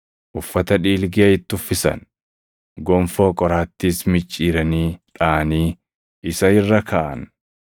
Uffata dhiilgee + 15:17 Uffata loltoota Roomaa kan wayyaa kaan irratti uffatamu. itti uffisan; gonfoo qoraattiis micciiranii dhaʼanii isa irra kaaʼan.